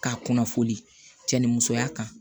K'a kunnafoni cɛn ni musoya kan